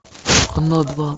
оно два